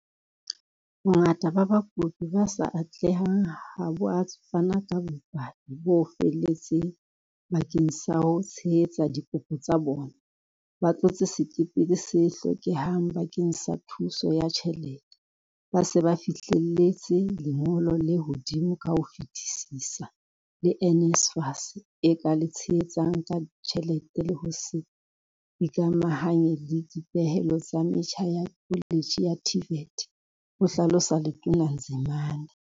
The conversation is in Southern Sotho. Bongata ba bakopi ba sa atlehang ha bo a fana ka bopaki bo felletseng bakeng sa ho tshehetsa dikopo tsa bona, ba tlotse sekepele se hlokehang bakeng sa thuso ya tjhelete. Ba se ba fihlelletse lengolo le hodimo ka ho fetisisa le NSFAS e ka le tshehetsang ka tjhelete le ho se ikamahanye le dipehelo tsa metjha ya koletjhe ya TVET, ho hlalosa Letona Nzimande.